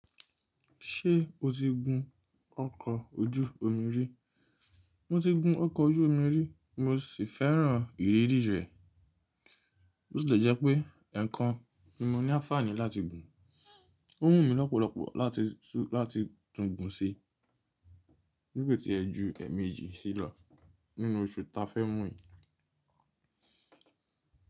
Ṣé o ti gun ọkọ̀ ojú omi rí? Mo ti gun ọkọ̀ ojú omi rí, mo sì fẹ́ràn ìrírí rẹ̀. Bi o tile jẹ́ pé eekan nímọ́ ní aafàní láti gùn. Ó wù mí lọ́pọ̀lọpọ̀ láti tún gun sí, bi ko tí ẹ ju ẹ̀mejì sí lo nínú oṣù ta fẹ́ mu yìí.